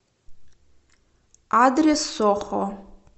адрес сохо